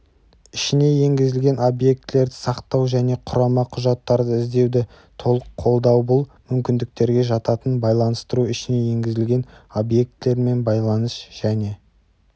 ішіне енгізілген объектілерді сақтау және құрама құжаттарды іздеуді толық қолдаубұл мүмкіндіктерге жататын байланыстыру ішіне енгізілген объектілермен байланыс -- және